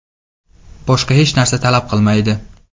Boshqa hech narsa talab qilinmaydi.